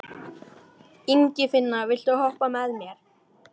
En það var fleira gert en gott þótti.